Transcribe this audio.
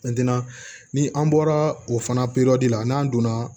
ni an bɔra o fana la n'an donna